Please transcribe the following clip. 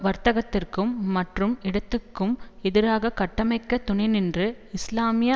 வர்க்கத்திற்கும் மற்றும் இடதுக்கும் எதிராக கட்டமைக்க துணை நின்று இஸ்லாமிய